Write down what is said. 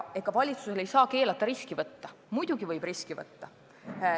Ega valitsust ei saa keelata riski võtta – muidugi võib riski võtta.